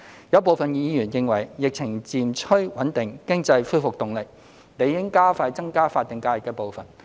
有部分議員認為，疫情漸趨穩定，經濟恢復動力，理應加快增加法定假日的步伐。